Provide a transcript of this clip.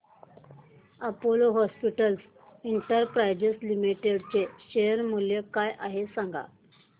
Apollo hospitals enterprise limited चे share मूल्य काय आहे सांगा